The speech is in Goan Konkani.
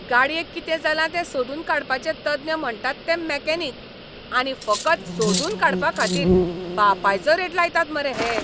गाडयेक कितें जालां तें सोदून काडपाचे तज्ञ म्हणटात हे मॅकॅनिक, आनी फकत 'सोदून काडपा'खाातीर बापायचो रेट लायतात मरे हे!